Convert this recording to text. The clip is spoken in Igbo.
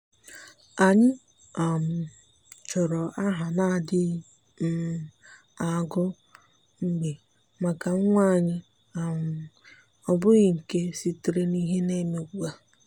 ànyị́ um chọ́rọ́ áhà nà-adị́ghị um agụ mgbe màkà nwa anyị́ um ọ́ bụ́ghị́ nke sitere n’ìhè nà-èmé ugbu a.